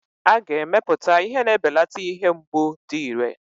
A ga-emepụta ihe na-ebelata ihe mgbu dị iré.